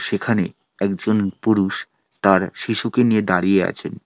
সেখানে একজন পুরুষ তার শিশুকে নিয়ে দাঁড়িয়ে আছেন।